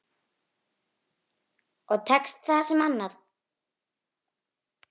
Og tekst það sem annað.